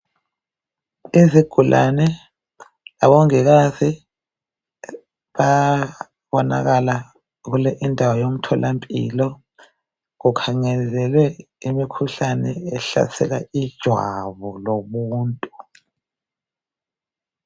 Izigulani labomongikazi babonakala endaweni yomthola mpilo kukhangelwe imikhuhlane ehlasela ijwabu lomuntu